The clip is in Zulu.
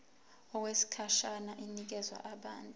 okwesikhashana inikezwa abantu